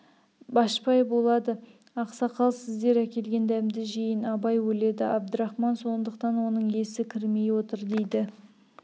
башпай болады ақсақал сіздер әкелген дәмді жейін абай өледі әбдірахман сондықтан оның есі кірмей отыр дейді